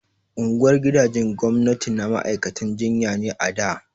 Unguwar gidajen gwamnati na ma'aikatan jinya ne a da